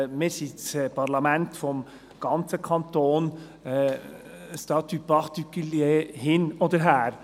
Wir sind das Parlament des ganzen Kantons, «statut particulier» hin oder her.